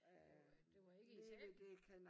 Og det var ikke Italien?